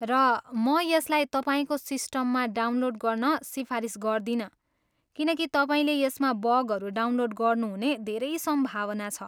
र म यसलाई तपाईँको सिस्टममा डाउनलोड गर्न सिफारिस गर्दिनँ किनकि तपाईँले यसमा बगहरू डाउनलोड गर्नुहुने धेरै सम्भावना छ।